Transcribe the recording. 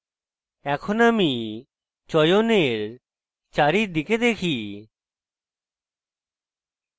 এখন আমি চয়নের চারিদিকে দেখি